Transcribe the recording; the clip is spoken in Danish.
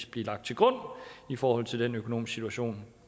blive lagt til grund i forhold til den økonomiske situation